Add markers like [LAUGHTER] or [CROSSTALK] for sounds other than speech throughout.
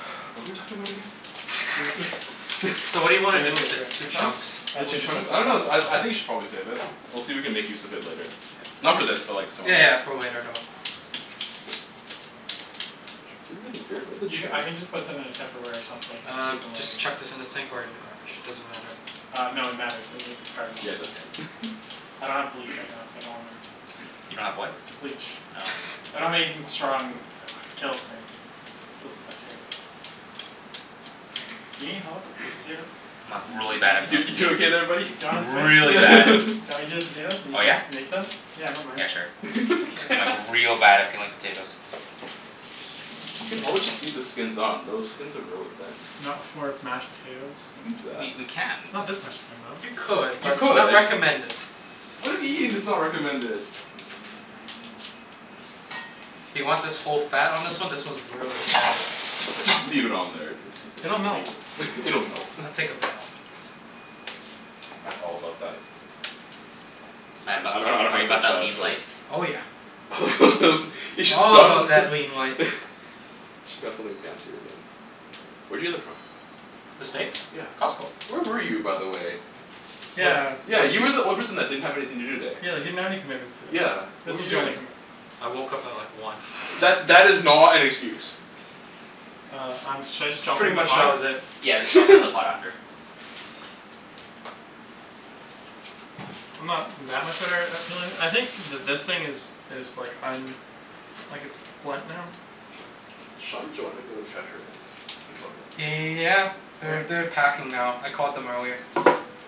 [NOISE] What were we talking about again? [LAUGHS] [INAUDIBLE] So what do Gimme you wanna the do with the baker. two chunks? I just Two need to chunks? put [INAUDIBLE] I this don't know out of I your I think you way should probably save it. We'll see if we can make use of it later. Yeah. Not for this, but like some other Yeah day. yeah for later though. [INAUDIBLE] where are the You ca- chairs? I can just put them in a tupperware or something and Uh use them later. just chuck this in the sink or in the garbage, doesn't matter. Uh no, it matters. In the garbage. Yeah it does. [LAUGHS] I don't have bleach right now, so I don't wanna. You don't have what? Bleach Oh. I don't have anything strong that kills things. Kills bacteria. Do you need help with the potatoes? I'm like really bad at [NOISE] You peeling you doing potatoes. okay there buddy? Do you Like wanna switch? really bad. Do you [LAUGHS] [LAUGHS] want me to do the potatoes and you Oh can yeah? make them? Yeah I don't mind. Yeah sure. I'm like [NOISE] [LAUGHS] real bad at peeling potatoes. We could always just [INAUDIBLE] leave the skins on. Those skins are really thin. Not for mashed potatoes. You can do that. We we can. Not this much skin though. You could, You but could. not recommended. Why do you mean it's not recommended? Do you want this whole fat on this one? This one's really fatty. Just leave it on there. It's it's It'll melt flavor. It'll melt. I'll take a bit off. Matt's all about that Matt about I don't know that are how to you about finish that that, lean but life? Oh yeah. [LAUGHS] You should All about spun that lean life. [LAUGHS] Should got something fancier than Where'd you get that from? The steaks? Yeah. Costco. Where were you, by the way? Yeah Yeah, you were the only person that didn't have anything to do today. Yeah, you didn't have any commitments today. Yeah. What This were was you your only doing? commitment. I woke up at like one. That that is not an excuse. Uh I'm should I just drop them Pretty in the much that pot? was it. Yeah, let's drop it in the pot [LAUGHS] after. I'm not that much of [INAUDIBLE] I think th- this thing is is like um like it's blunt now. Sean and Joanna go to Trattoria? Victoria? Yeah. They're they're packing now. I called them earlier.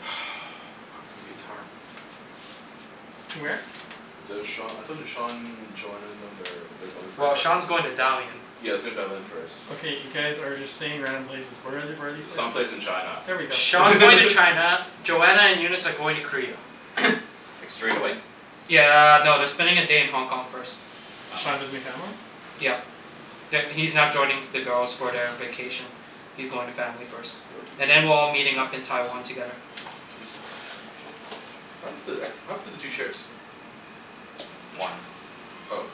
[NOISE] [INAUDIBLE] To where? The Sean, I told you, Sean, Joanna and them they're they're going for. Well Sean's going to [INAUDIBLE] Dalian. Yea he's going to Dalian first. Okay, you guys are just saying random places. Where are the- where are these places? Some place in China There we go [LAUGHS] Sean's going to [LAUGHS] China, Joanna and Eunice are going to Korea. Like straight away? Yeah no, they're spending a day in Hong Kong first. Sean Oh. visiting family? Yeah. That He's not joining the girls for the vacation. He's going to family first. [INAUDIBLE] And then we're all meeting up in Taiwan together. Juicy. [INAUDIBLE] What happened to the two chairs? One. Oh.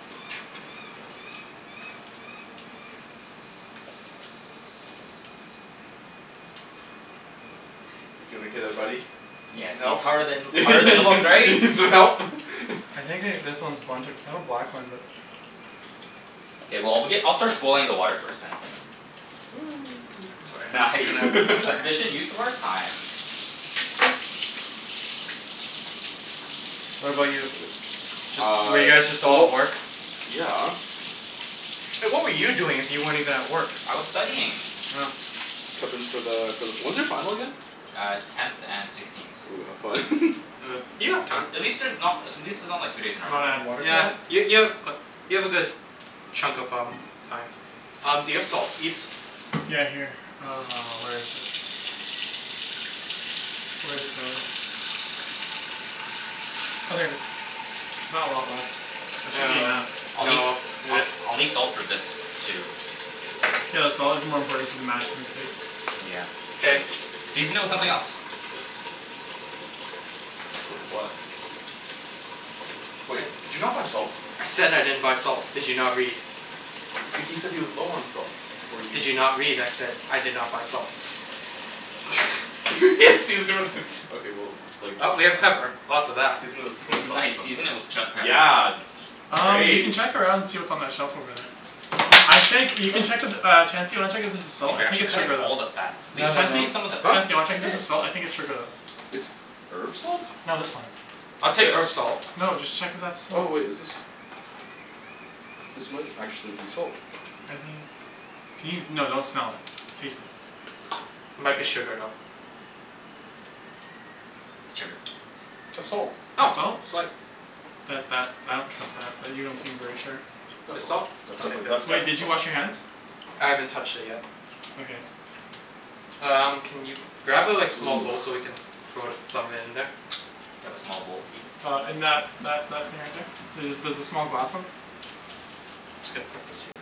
You peelin' okay there buddy? You need Yeah some see it's help? harder than harder than it looks, [LAUGHS] You right? need some help? [LAUGHS] I think they this one is blunted cuz that one. [INAUDIBLE] K well I'll begin I'll start boiling the water first then. Sorry. [NOISE] Just Nice. gonna wash my [LAUGHS] hands. Efficient use of our time. What [INAUDIBLE] about you? Just Uh. were you guys just all at Well. work? Yeah. Hey what were you doing if you weren't even at work? I was studying. Oh. [NOISE] Preppin' for the for the when's your final again? Uh tenth and sixteenth. Ooh, have fun. [LAUGHS] Uh. You have time. At least there's not at least it's not like two days in a You row. wanna add water to Yeah that? y- Yeah. you have you have a good chunk of um Time. Um do you have salt Ibs? Yeah here. Uh, where is it? Where'd it go? Oh there it is. There's not a lot left. That should be enough. Uh no Um [NOISE] I'll need salt for this too. Yeah the salt is more important for the mash than the steaks. Yeah, true. K. Season it with something else. With what? Wait, did you not buy salt? I said I didn't buy salt, did you not read? H- he said he was low on salt, before you Did s- you not read? I said I did not buy salt. [LAUGHS] Season it with okay well like s- Well, I we mean have pepper. Lots of that. Season it with soy [LAUGHS] sauce or Nice something. season it with just pepper. Yeah. Um you can Great. check around see what's on that shelf over there. I think you can check if uh Chancey wanna check if there's salt? Dude I you're think actually it's cutting sugar though. all the fat. Leave No some no no, Chancey? leave some of the Huh? fat. Chancey, wanna I check if this did. is salt? I think it's sugar though. It's herb salt? No this one. I'll take This? herb salt. No, just check if that's Oh salt. wait, is this? This might actually be salt. I think. Can you? No, don't smell it. Taste it. Might be [NOISE] sugar though. It's sugar. That's salt. It's Oh, salt? sweet. That that I don't trust that. That you don't seem very sure. That's It's salt. salt? That's Okay definitely good that's Wait, definitely did you salt. wash your hands? I haven't touched it yet. Okay. Um can you grab a like small bowl so we [NOISE] can throw some of it in there? Do you have a small bowl, Ibs? Uh in that that that thing right there. There's the small glass ones. Just gotta put this here.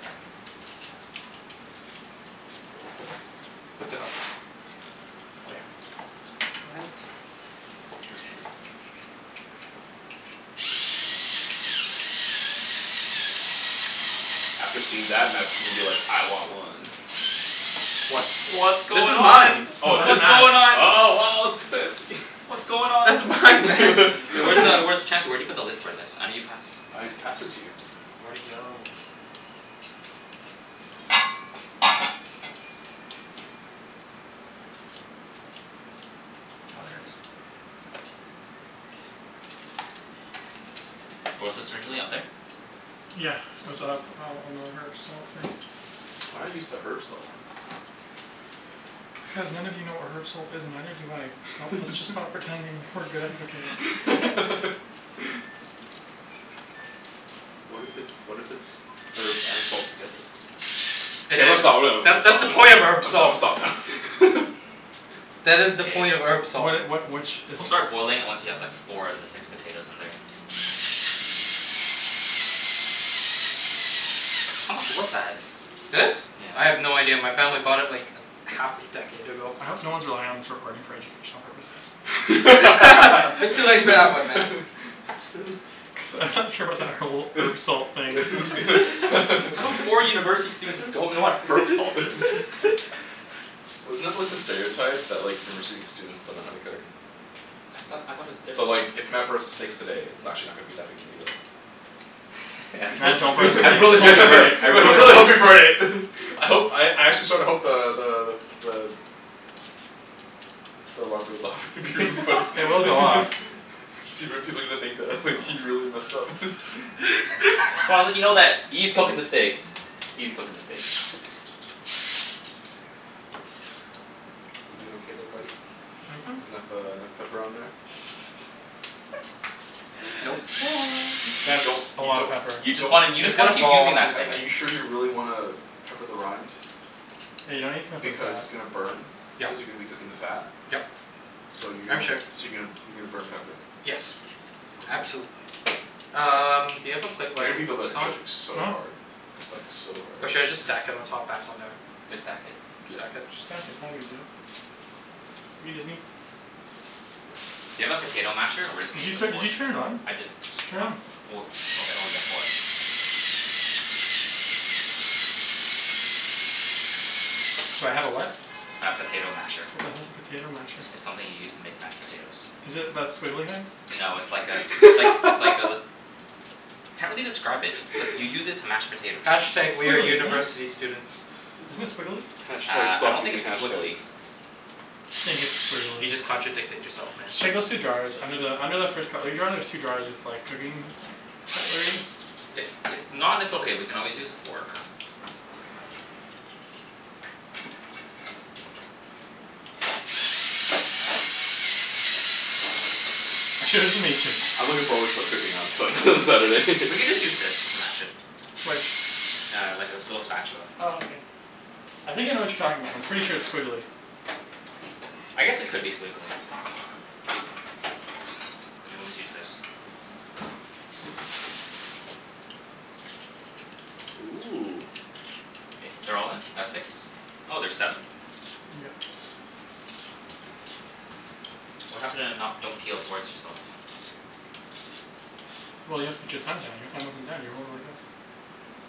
That's enough. Oh yeah. It's it's plenty. Where's the lid? After seeing that Matt's gonna be like "I want one!" What? What's This going is on? mine. Yo Oh it that's is? What's nuts. going on? Oh wow it's fancy. [LAUGHS] What's going on? That's It's mine. mine man. Hey [LAUGHS] What where's the the hell? where's t- [LAUGHS] Chancey where'd you put the lid for this? I know you passed I passed it to you. Where'd it go? Oh, there it is. Where was this originally? Up there? Yeah. it's up on on the herb salt thing. Why not use the herb salt? Cuz none of you know what herb salt is and neither do I. Sto- let's just [LAUGHS] stop pretending that we're good at cooking. [LAUGHS] [LAUGHS] What if it's what if it's herb and salt together? K Hey there I'm it gonna is. stop [NOISE] I'm gonna That's that's stop the point of herb I'm gonna salt. stop now [LAUGHS] That is the point of Hey. herb salt. What it what which is We'll it? start boiling it once you have like four out of the six potatoes in there. How much was that? This? I Yeah. have no idea. My family bought it like a half a decade ago. I hope no one's relying on this recording for educational purposes. [LAUGHS] You're too late for that one man. [LAUGHS] Cuz I'm not sure about that whole herb salt thing. [LAUGHS] Just gonna [LAUGHS] [LAUGHS] How come four [LAUGHS] university students don't know what herb salt is? [LAUGHS] Wasn't that like the stereotype? That like university students don't know how to cook? I thought I thought it was So different like if Matt burns the steaks today it's n- actually not gonna be that big a deal. I'm so Man, don't bring the t- [LAUGHS] I I States really hope you into this. burn it. I really hope hope you you burn burn it. it. [LAUGHS] I hope I actually sorta hope the the the the The alarm goes off. It would be funny [LAUGHS] [LAUGHS] It will go off. People people are gonna think that he Oh really messed up [LAUGHS] So I wanna let you know that [LAUGHS] E's cooking the steaks. E's cooking the steaks. You doin' okay there buddy? Mhm. Mhm. It's enough uh enough pepper on there? Nope. Y- [NOISE] you you That's don't a you lotta don't pepper. You you just wanna you It's just wanna gonna keep fall off using don't in that the sting. are cooking. you sure you really wanna pepper the rind? Yeah, you don't need to pepper the Because fat. it's gonna burn. Yeah. Cuz you're gonna be cooking the fat. Yep. So you're I'm gonna sure. so you're gonna you're gonna burn pepper. Yes, Okay. absolutely. Um do you have a plate I where I hear can people put that are this on? judging so Huh? hard. Like so hard. Or should I just stack it on top back on there? Just stack it. Yeah. Stack it? Just stack it, it's not a big deal. I mean doesn't he Do you have a potato masher or we're just Did gonna you use a set did fork? you turn it on? I didn't. Turn Not it. oh okay oh yeah four. Do I have a what? A potato masher. What the hell's a potato masher? It's something you use to make mashed potatoes. Is it that squiggly thing? No it's like a it's likes it's like a [LAUGHS] Can't really describe it, just like you use it to mash potatoes. Hash tag It's we're squiggly, isn't it? university students. Isn't it squiggly? Hash tag Uh I stop don't think using it's hash squiggly. tags. I just think it's squiggly You just contradicted yourself man. Just check those two drawers. Under the under the first cutlery drier there's two drawers with like cooking cutlery. If if not it's okay, we can always use a fork. I'm sure it doesn't mix it. I'm looking forward to cooking on Sun- on Saturday. [LAUGHS] We can just use this to mash it. Which? Yeah, like this little spatula. Oh okay. I think I know what you're talking about, I'm pretty sure it's squiggly. I guess it could be squiggly. I always use this. [NOISE] Ooh. K, they're all in? That's six? Oh, there's seven? Yeah. What happened to not don't peel towards yourself? Well you have to put your thumb down. Your thumb wasn't down. You were holding it like this.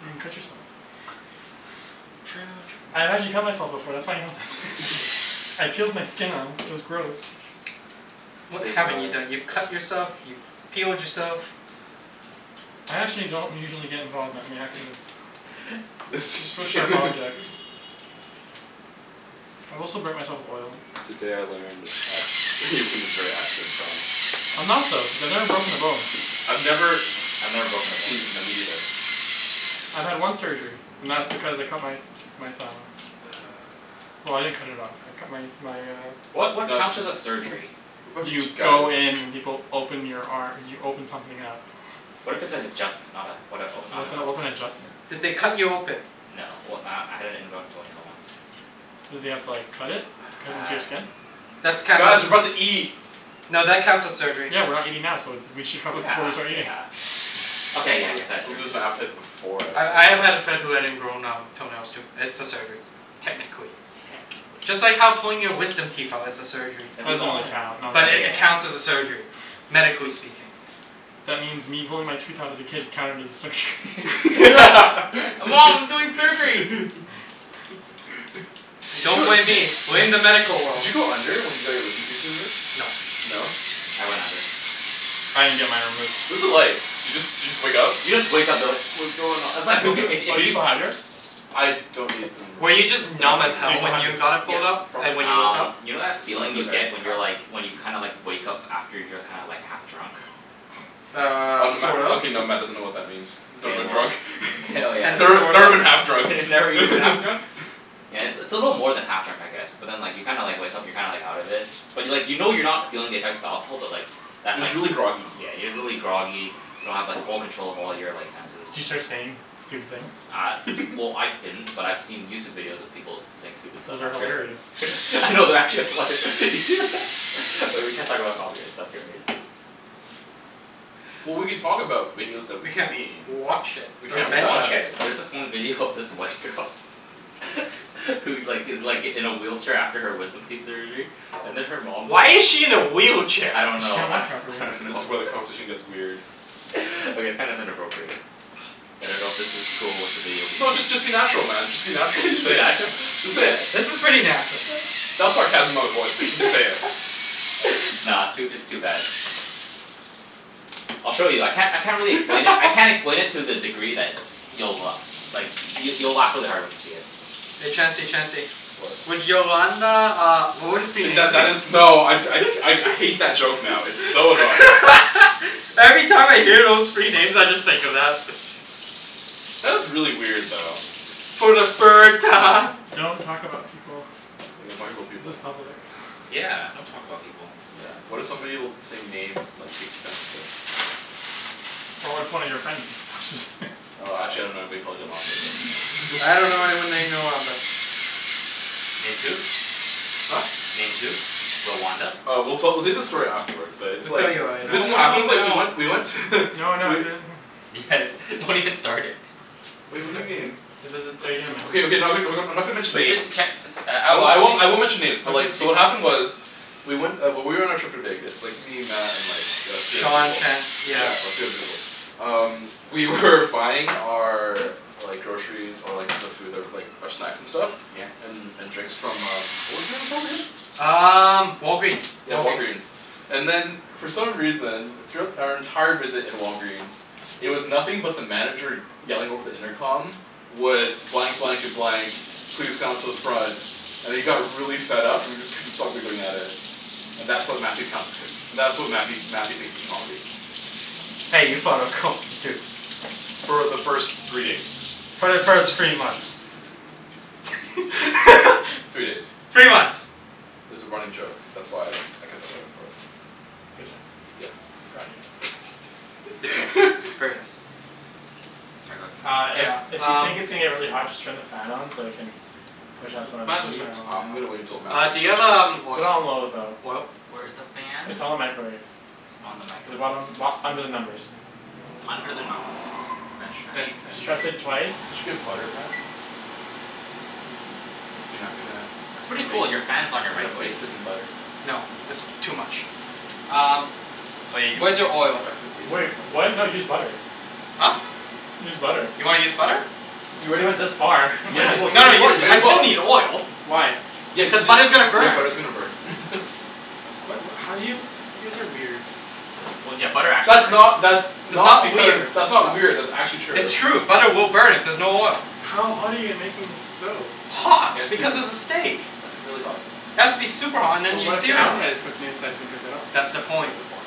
You're gonna Oh cut yourself. [LAUGHS] True I've true actually cut myself true before. That's why I know this. Actually? [LAUGHS] I peeled my skin off. It was gross. You What T haven't m you i done? You've cut yourself, you've peeled yourself. I actually don't usually get involved with that many accidents. [LAUGHS] With sharp objects. [LAUGHS] I've also burnt myself with oil. Today I learned that Ibrahim is very accident prone. I'm not though, cuz I've never broken a bone. I've never I've never broken a bone Seen, either. no me neither. I've had one surgery, and that's because I cut my my thumb off. Well I didn't cut it off, I cut my my uh What what counts as a surgery? What are You you guys go in and people open your ar- you open something up. What if it's an adjustment? Not uh what a not What the an hell, what's open? an adjustment? Did they cut you open? No, well uh I had an ingrown toenail once. Did they have to like cut it? Cut into your Uh skin? That's counts Guys, as we're about to eat. no that counts as surgery. Yeah, we're not eating now, so th- we should cover Yeah, it before we start eating. yeah. I'll Okay, yeah I guess I had I'll surgery lose my then. appetite before I I start I have had a eating. friend who had ingrown um toenails too. It's a surgery. Techincally. Technically. Just like how pulling your wisdom teeth out is a surgery. Then That we've doesn't all really had count, But it [INAUDIBLE] yeah. counts as a surgery, medically speaking. That means me pulling my tooth out as a kid counted as a surgery. [LAUGHS] [LAUGHS] Hey mom we're doing surgery! [LAUGHS] Did Don't you blame did you me, blame did you the medical did world. you go under when you got your wisdom teeth removed? No. No? I went under. I didn't get mine removed. What was it like? Do you just do you just wake up? You just wake up you're like "What's going on?" It's like okay if [LAUGHS] Oh if do you you still have yours? I don't need them Were you removed. just They're not numb as bugging Do you hell still me. when have yours? you got it Yeah, pulled out? And probably. when you woke Um up? you know that feeling you get when you're like [INAUDIBLE] when you kinda like wake up after you're kinda like half drunk? Um, Um Matt sort of. okay now Matt doesn't know what that means. K, Never been well, drunk. k oh [LAUGHS] [INAUDIBLE] Never yes. sort never of. been half drunk. [LAUGHS] Never even half drunk? [LAUGHS] Yeah, it's a little more than half drunk I guess. But then like you kinda like wake up and you're kinda like out of it. But like you know you're not feeling the effects of alcohol but like But Just like y- really groggy. yeah, you're really groggy, you don't have like full control of all your like senses. Do you start saying stupid things? Uh well [LAUGHS] I didn't, but I've seen YouTube videos of people saying stupid stuff Those are after. hilarious. [LAUGHS] No, they're actually hilar- You see [LAUGHS] Oh, we can't talk about copyright stuff here, right? Well we could talk about videos that We we've can't seen. watch it We or Okay can't mention watch okay, it. there's this one video of this white girl [LAUGHS] Who like gives like in a wheelchair after her wisdom teeth surgery. And then her mom Why is she in a wheelchair? I don't Cuz she know can't I walk properly. don't This know is where the [LAUGHS] conversation gets weird. [LAUGHS] Okay it's kind of inappropriate. I don't know if this is cool with the video people. No just just be natural man, just be natural. Just say [LAUGHS] it. natural? Just say Yeah. it. This is pretty natural. That was sarcasm in my voice. But you just say it. [LAUGHS] Nah, it's too it's too bad. I'll show you. I can't I can't really explain it. I [LAUGHS] can't explain it to the degree that you'll like you'll you'll laugh really hard when you see it. Hey Chancey Chancey. What? Would Yolanda uh would it be K that that is. [INAUDIBLE] No I I I hate that joke now. It's so annoying. [LAUGHS] Every time I hear those three names I just think of that. That was really weird though. Okay. For the third time. Don't talk about people. We don't talk about This is people. public. Yeah, don't talk about people. Yeah, what if somebody with the same name like takes offense of this? But what if one of your friends just [NOISE] Uh actually I don't know anybody called Yolanda but you I dunno know. [LAUGHS] anyone named Yolanda. Named who? Huh? Named who? Rwanda? Uh we'll tell we'll tell you the story afterwards, but it's We'll tell like. you So later. No, this I is what wanna happened know it's like we now. went we went to No, no, I [LAUGHS] do. Guys, don't even start it. Wait what do you mean? Is this are you going to mention Okay okay [INAUDIBLE] someone? I'm not gonna mention Wait names. [INAUDIBLE] can't just uh I won't I won't I won't [INAUDIBLE] mention names but Okay. like so what happened was. We went uh when we were on our trip to Vegas. Me, Matt, and like the three other Sean people. can't yeah. Yeah three other people. Um we were buying our Like groceries, or like the food that like um snacks and stuff Yeah. And and drinks from um what was the name [INAUDIBLE] again? Um Walgreens. Yeah Walgreens. Walgreen's. And then for some reason, throughout our entire visit at Walgreens It was nothing but the manager yelling over the intercom Would blank blank and blank Please come to the front And he got really fed up and we just couldn't stop giggling at it. And that's what Matthew counts as that's what Matthew Matthew thinks is comedy. Hey, you thought it was comedy, too. For the first three days. For the first three months. Three days. [LAUGHS] Three months. It's a running joke. That's why I kept on going for it. Good job. Yeah. Proud of you. Good job. [LAUGHS] Very nice. Uh Yeah, if if you um. think it's gonna get really hot just turn the fan on so you can Push out some of Might as the well heat. turn it on I'm gonna wait until now. Matt Uh do you have um [INAUDIBLE] Put it oil on low though. oil? Where's the fan? It's on the microwave. It's on In the the microwave. bottom bo- under the numbers. Under the numbers. Did French you [INAUDIBLE] did French. French. you did Just press it twice. you get butter, Matt? You're not gonna It's pretty baste cool, your not fan's gonna on baste your it in microwave. butter? No, that's too much. Um, where's He's your he's oil? not gonna baste Wait, it in what? butter. No use butter. Huh? Use butter. You wanna use butter? You already went this far, might Yeah, as you well can use No, you s- I still need just [INAUDIBLE] oil. Why? Yeah cuz Cuz you butter's gonna yeah burn. butter's gonna burn [LAUGHS] What what how do you? You guys are weird. That's not that's It's not not because weird. that's not weird that's actually true. It's true. Butter will burn if there's no oil. How hot are you making this stove? Just it Hot, has to be because it it's a steak. has to be really hot. It has to be super hot and But then you what if the sear it. outside is cooked and the inside isn't cooked at all? That's the That's point. the point.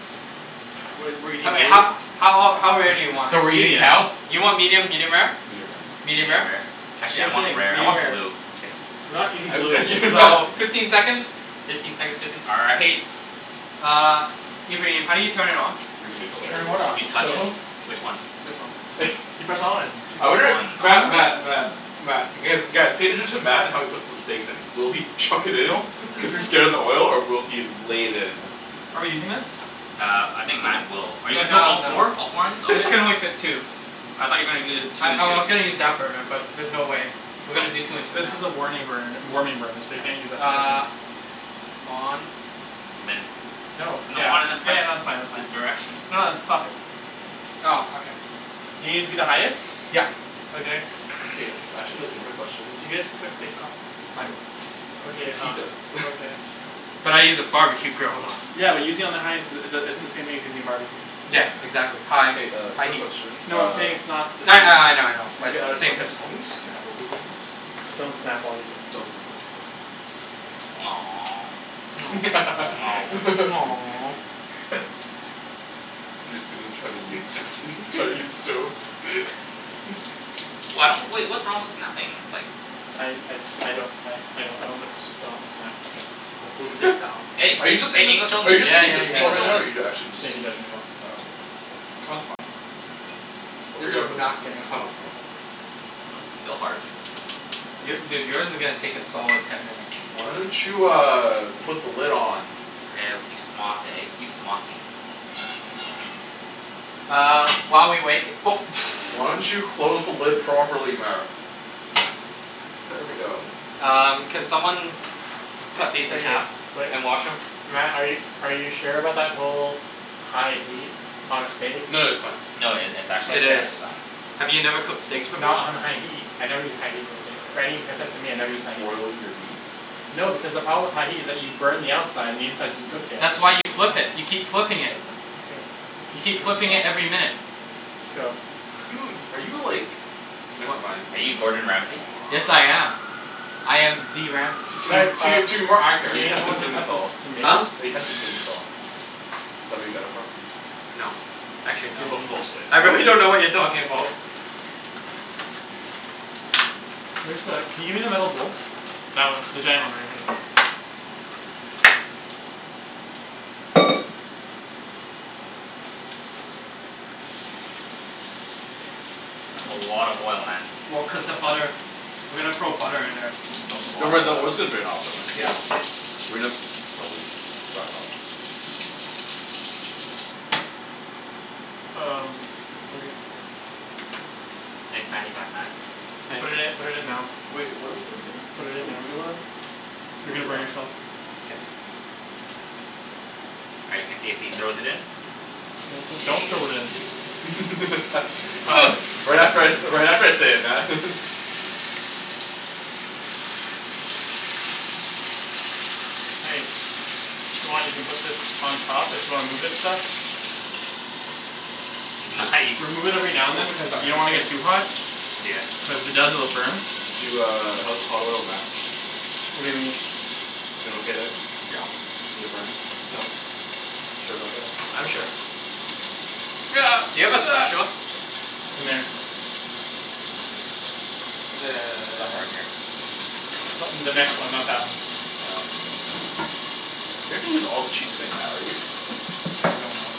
What do you mean? I mean Blue? how how ol- how rare do you want Medium. it? You want medium, medium rare? Medium rare Medium Medium rare? rare. Actually I Same thing, want medium rare rare. or blue. Kidding. We're not eating blue. So, [LAUGHS] fifteen seconds? Fifteen seconds will do all right. Uh, Ibrahim, how do you turn it on? It's gonna be Turn what hilarious. on, the stove? Which one? This one. You press on. [LAUGHS] I wonder Matt Matt Oh. Matt Matt guys cater to Matt how he puts the steaks in. Will he chuck it in? Don't put this Cuz he's thing scared of the oil or will he lay it in? Are we using this? Uh I think Matt will. Are you [INAUDIBLE] put No, all no. four? All four in it? This can Okay. only [LAUGHS] fit two. I thought you're gonna do I two and I two. was gonna [INAUDIBLE] use that burner, but there's no way. We're gonna do two and two now. This is a warning burner warming burner so you can't use that for cooking. Uh On Then. No. Yeah. No, Yeah no on and that's fine then that's fine. press the direction. No it's stop it. Oh, okay. You gonna use the highest? Yep. Okay. K, I actually have a legitimate question. D'you guys cook steaks often? I don't. Okay He uh does. [LAUGHS] okay. But I use a barbecue grill though. Yeah but using on the highest uh the isn't the same thing as using a barbecue. Yeah, Yeah man. exactly, high K uh high quick heat. question No I'm uh saying it's not the same. Yeah, yeah. I know I know. Maybe out of [NOISE] Same context. principle. Can we snap while we're doing this? Don't snap while you're doing Don't this. snap to be safe. [NOISE] [LAUGHS] Three students try to use [LAUGHS] try to use stove. [LAUGHS] Why don't wait what's wrong with snapping ? It's like I I just I don't I I don't know but just don't snap. Wo bu zhi dao Hey, [LAUGHS] Are you are just you it's just saying? are you Yeah just making a yeah yeah judgment call right yeah now or are you actually just Safety judgment call. Oh okay, Oh it's fine. We'll This figure is out for next not time. getting Next time hot. will be [INAUDIBLE] more fun. Still hard. Your dude yours is gonna take a solid ten minutes. Why don't you uh put the lid on? Woah you smart eh you smarty. Uh while we wait [NOISE] [NOISE] Why don't you close the lid properly Matt? There we go. Um, can someone cut Okay, these in half wait, and wash them? Matt are you are you sure about that whole high heat on a steak? No that's fine. No it it's It actually Okay. is. just fine. Have you never cooked steaks before? Not on a high heat. I never use high heat on steaks. For any types of meat I Do never you use just high heat. boil your meat? No because the problem with high heat is that you burn the outside and the inside isn't cooked yet. That's why you flip it. You keep flipping it. That's no- okay, You keep cook flipping it every your [INAUDIBLE] minute. Just go. Are you [LAUGHS] in are you like never mind. Are you Yes I Gordon am. Ramsay? I am the Ramsay. To Si- uh, to to be more accurate, are we you need Heston someone to cut the Blumenthal? Huh? tomatoes? Are you Heston Blumenthal? Is that where you got it from? No, actually no. Excuse me. Bull bull shit. I really don't know what you're talking about. Where's the can you give me the metal bowl? That one. The giant one right in front of you. That's a lot of oil, Matt. Well cuz the butter. We're gonna throw butter in there. It's a Don't worry lot the of oil's gonna oil. drain out though right? Yeah. We [INAUDIBLE] probably dry it off. Um, okay. Thanks man you got that? You put it in Nice. put it in now. Wait, what else are we doing? Put it in now. Arugula? You're gonna Arugula? burn yourself. All right let's see if he throws it in. Do- do- don't throw it in. [LAUGHS] Um. Right after I say right after I say it, Matt. Hey. If you want, you can put this on top. If you wanna move it and stuff. Just That's nice remove it every now and then cuz you don't want to get too hot. Yeah. Cuz the [INAUDIBLE] burn. Do uh how's the hot oil Matt? What do you mean? You doin' okay there? You get burned? Nope. Sure about that? I'm sure. Do you have a spatula? [NOISE] In there. Somewhere in [NOISE] here. [NOISE] In the next one, not that one. You're not gonna use all the cheese today Matt are you? I don't know.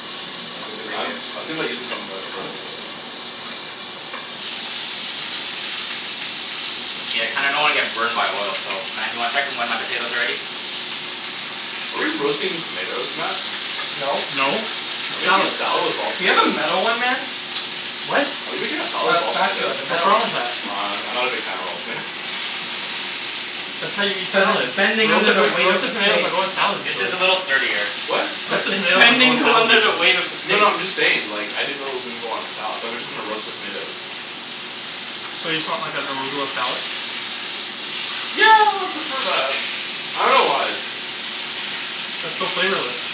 Because I'm I was thinking about using some of that for [INAUDIBLE] other stuff. Yeah, I kinda don't wanna get burned by oil so Matt do you wanna check when my potatoes are ready? Are we roasting tomatoes, Matt? No. No, Are it's we making a salad. salad of all Do you have a tomatoes? metal one man? What? Are we making a salad A of all spatula, tomatoes? the What's metal wrong one. with that? I'm I'm not a big fan of all tomatoes. That's how you eat Cuz it's salads. bending under Roasted the like weight of the roasted tomatoes steak. don't go in salads This regularly. is a little sturdier. What? Cuz Roasted it's tomatoes don't go in bending salads under the regularly. weight of the No steak. no I'm just saying like I didn't know it was gonna go on a salad. Thought we were just gonna roast the tomatoes. So you just want like an arugula salad? Yeah I'd prefer that. I dunno why. That's so flavorless.